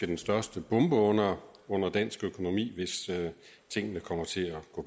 den største bombe under dansk økonomi hvis tingene kommer til